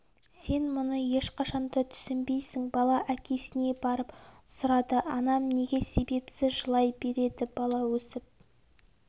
сен мұны ешқашан да түсінбейсің бала әкесіне барып сұрады анам неге себепсіз жылай береді бала өсіп